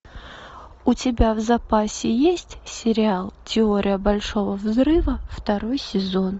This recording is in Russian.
у тебя в запасе есть сериал теория большого взрыва второй сезон